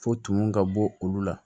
Fo tunu ka bɔ olu la